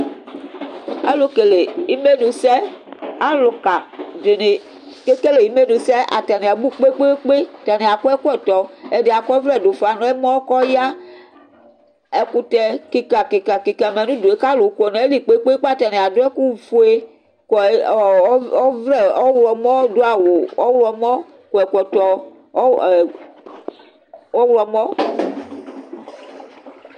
Alʋkele imenʋsɛ, alʋka dini kekele imenʋsɛ atani abʋ kpe kpe kpe, atani akɔ ɛkɔtɔ ɛdi akɔ ɔvlɛ dʋ ufa nʋ ɛmɔ kʋ ɔya, ɛkʋtɛ kika kika kika manʋ ʋdʋe kʋ alʋ kɔnʋ ayili kpe kpe kpe atani adʋ ɛkʋfue kɔ ɔvlɛ ɔwlɔmɔ dʋ awʋ ɔwlɔmɔ kɔ ɛkɔtɔ ɔwlɔmɔ